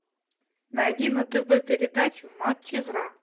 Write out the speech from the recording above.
найди на тв передачу матч игра